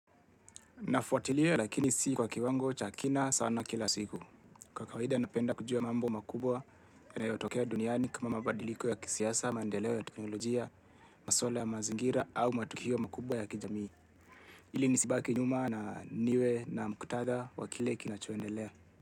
Nafuatilia lakini si kwa kiwango cha kina sana kila siku. Kwa kawaida napenda kujua mambo makubwa na yanayotokea duniani kama mabadiliko ya kisiasa, maedeleo ya teknolojia, maswala ya mazingira au matukio makubwa ya kijamii. Ili nisibaki nyuma na niwe na mkutadha wakile kinachoendelea.